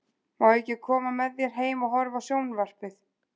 Má ég ekki koma með þér heim og horfa á sjón- varpið?